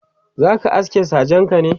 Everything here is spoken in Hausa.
zaka aske sajenka ne?.